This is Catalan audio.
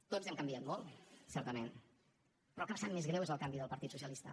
tots hem canviat molt certament però el que em sap més greu és el canvi del partit socialista